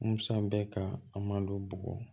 Musa bɛ ka a malo bugɔ